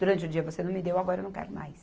Durante o dia você não me deu, agora eu não quero mais.